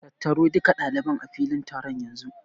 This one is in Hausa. Tattaro duka ɗaliban a filin taron yanzu!